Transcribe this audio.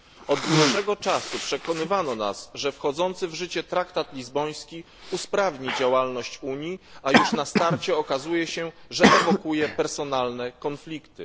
Od dłuższego czasu przekonywano nas, że wchodzący w życie traktat lizboński usprawni działalność Unii, a już na starcie okazuje się, że ewokuje w personalne konflikty.